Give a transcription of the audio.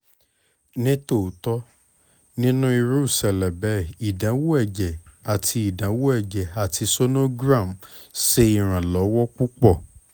ni otitọ ninu iru iṣẹlẹ bẹẹ idanwo ẹjẹ ati idanwo ẹjẹ ati sonogram ṣe iranlọwọ pupọ